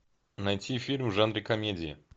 найти фильм в жанре комедии